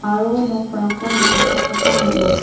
aro nokrangko nikatna gita man·a.